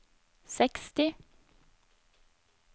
seksti